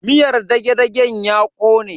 Miyar dage-dagen ya kone.